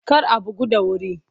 Kar a bugu da wuri!